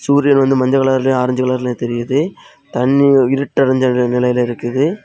சூரியன் வந்து மஞ்ச கலர்லியும் ஆரஞ்சு கலர்லியும் தெரியுது தண்ணி இருட்டைஞ்ச நிலையில இருக்குது.